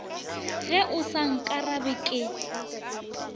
ge o sa nkarabe ke